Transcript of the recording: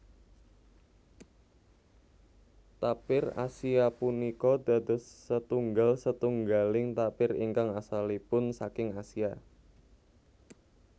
Tapir Asia punika dados setunggal setunggaling tapir ingkang asalipun saking Asia